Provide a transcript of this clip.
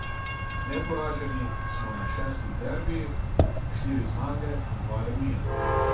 Neporaženi smo na šestih derbijih, štiri zmage in dva remija.